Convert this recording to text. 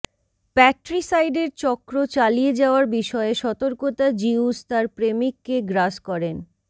প্যাট্রিসাইডের চক্র চালিয়ে যাওয়ার বিষয়ে সতর্কতা জিউস তার প্রেমিককে গ্রাস করেন